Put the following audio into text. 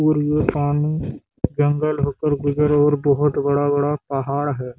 और ये पानी जंगल होकर गुजरे और बहोत बड़ा-बड़ा पहाड़ है।